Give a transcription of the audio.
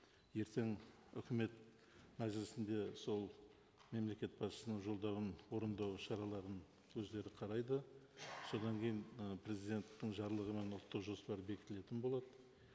ертең үкімет мәжілісінде сол мемлекет басшысының жолдауын орындау шараларын өздері қарайды содан кейін ы президенттің жарлығымен ұлттық жоспар бекітілетін болады